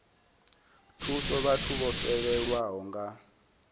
thusa vhathu vho fhelelwaho nga